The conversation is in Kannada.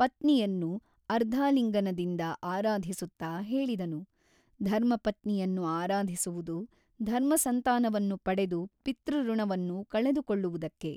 ಪತ್ನಿಯನ್ನು ಅರ್ಧಾಲಿಂಗನದಿಂದ ಆರಾಧಿಸುತ್ತಾ ಹೇಳಿದನು ಧರ್ಮಪತ್ನಿಯನ್ನು ಆರಾಧಿಸುವುದು ಧರ್ಮಸಂತಾನವನ್ನು ಪಡೆದು ಪಿತೃಋಣವನ್ನು ಕಳೆದುಕೊಳ್ಳುವುದಕ್ಕೆ.